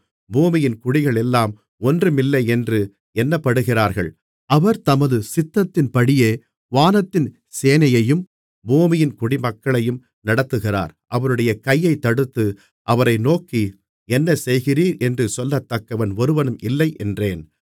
பூமியின் குடிகள் எல்லாம் ஒன்றுமில்லையென்று எண்ணப்படுகிறார்கள் அவர் தமது சித்தத்தின்படியே வானத்தின் சேனையையும் பூமியின் குடிமக்களையும் நடத்துகிறார் அவருடைய கையைத்தடுத்து அவரை நோக்கி என்ன செய்கிறீரென்று சொல்லத்தக்கவன் ஒருவனும் இல்லை என்றேன்